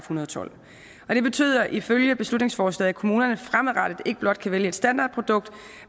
hundrede og tolv det betyder ifølge beslutningsforslaget at kommunerne fremadrettet ikke blot kan vælge et standardprodukt